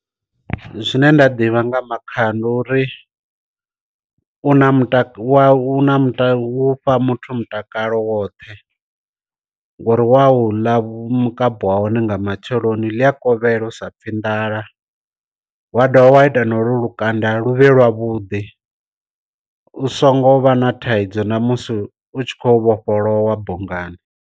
Zwine nda ḓivha nga makhaha ndi uri u na muta u na mutakalo wa u mu fha muthu mutakalo woṱhe, ngori wau ḽa mukapu wa hone nga matsheloni ḽi a kovhela u sa pfhi nḓala, wa dovha wa ita na lukanda luvhe lwa vhudi u songo vha na thaidzo namusi utshi kho vhofholowa bungani.